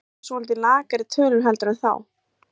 Þetta eru svolítið lakari tölur heldur en þá?